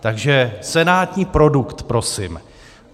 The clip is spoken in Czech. Takže senátní produkt prosím.